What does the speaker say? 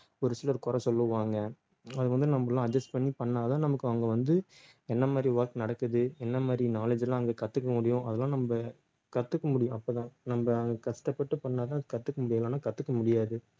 ஒரு சிலர் குறை சொல்லுவாங்க அது வந்து நம்ம எல்லாம் adjust பண்ணி பண்ணா தான் நமக்கு அங்க வந்து என்ன மாதிரி work நடக்குது என்ன மாதிரி knowledge எல்லாம் அங்க கத்துக்க முடியும் அதெல்லாம் நம்ம கத்துக்க முடியும் அப்பதான் நம்ம கஷ்டப்பட்டு பண்ணாதான் கத்துக்க முடியும் இல்லைன்னா கத்துக்க முடியாது